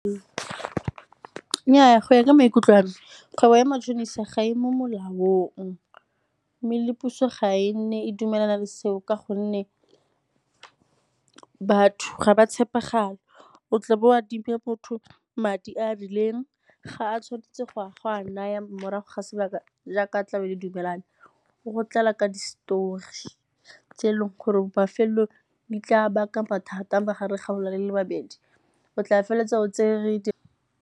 Nnyaa, go ya ka maikutlo a me, kgwebo ya matšhonisa gae mo molaong. Mme le puso ga e nne e dumelana le seo ka gonne batho ga ba tshepagale, o tla bo o adimile motho madi a a rileng, ga a tshwanetse go a go a naya morago ga sebaka jaaka tlabe le dumelane o go tlala ka di-story tse e leng gore mafelelong di tla baka mathata magareng ga gona le le babedi. O tla feleletsa o tsere di.